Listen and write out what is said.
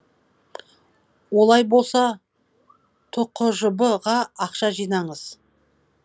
олай болса түқжб ға ақша жинаңыз